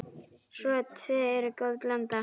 Þau tvö eru góð blanda.